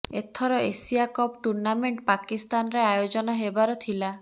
ଏଥର Asia cup tournament ପାକିସ୍ତାନରେ ଆୟୋଜନ ହେବାର ଥିଲା